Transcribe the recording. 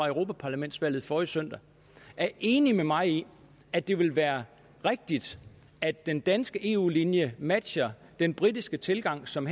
europaparlamentsvalget forrige søndag er enig med mig i at det ville være rigtigt at den danske eu linje matchede den britiske tilgang som